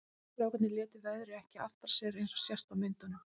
Strákarnir létu veðrið ekki aftra sér eins og sést á myndunum.